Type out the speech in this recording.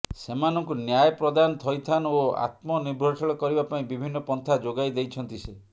ସେମାନଙ୍କୁ ନ୍ୟାୟ ପ୍ରଦାନ ଥଇଥାନ ଓ ଆତ୍ମନିର୍ଭରଶୀଳ କରିବା ପାଇଁ ବିଭିନ୍ନ ପନ୍ଥା ଯୋଗାଇ ଦେଇଛନ୍ତି ସେ